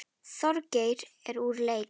Þorgeir er úr leik.